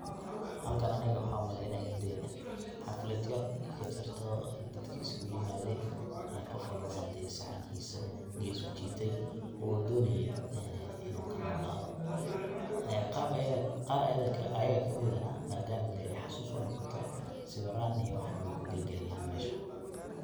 Halkan aniga waxan umaleyaa inay hadi xaflad yar inay kajirto dee dadka isku yimaaden ee qof walbona dee uu saxankiisa gees ujiitay uu donaya inuu ka noolado ee qar ayaga kamidee na maadama dee xasus unoqoto sawiran iyo wax an way kugelgelayan mesha.